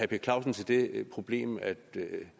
per clausen til det problem at det